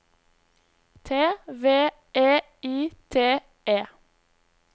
T V E I T E